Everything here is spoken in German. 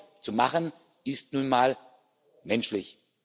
Fehler zu machen, ist nun mal menschlich.